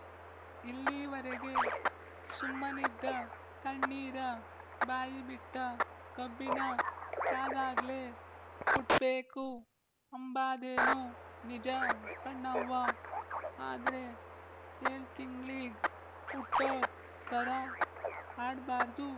ಇಲ್ಲೀವರೆಗೆ ಸುಮ್ಮನಿದ್ದ ಸಣ್ಣೀರ ಬಾಯಿಬಿಟ್ಟಕಬ್ಬಿಣ ಕಾದಾಗ್ಲೇ ಕುಟ್ಬೇಕು ಅಂಬಾದೇನೊ ನಿಜ ಕಣವ್ವ ಆದ್ರೆ ಏಳ್‍ತಿಂಗಳೀಗ್ ವುಟ್ದೋರ್ ತರ ಆಡ್‍ಬಾರ್ದು